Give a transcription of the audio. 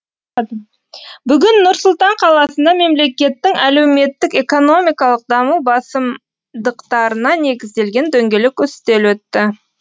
бүгін нұр сұлтан қаласында мемлекеттің әлеуметтік экономикалық даму басымдықтарына негізделген дөңгелек үстел өтті